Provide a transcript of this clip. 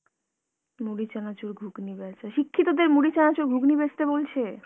মুড়ি চানাচুর, ঘুগনি বেঁচা। শিক্ষিতদের মুড়ি চানাচুর, ঘুগনি বেঁচতে বলছে?